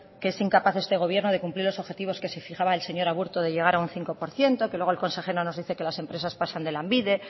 que es incapaz este gobierno de cumplir los objetivos que se fijaba el señor aburto de llegar a un cinco por ciento que luego el consejero nos dice que las empresas pasan de lanbide